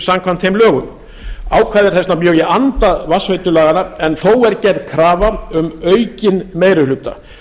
samkvæmt þeim lögum ákvæðið er þess vegna mjög í anda vatnsveitulaganna en þó er gerð krafa um aukinn meiri hluta